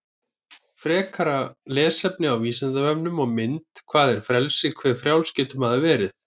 Frekara lesefni á Vísindavefnum og mynd Hvað er frelsi, hve frjáls getur maður verið?